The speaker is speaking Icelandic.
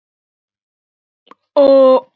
Það hefur ekki orðið.